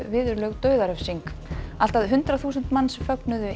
viðurlög dauðarefsing allt að hundrað þúsund manns fögnuðu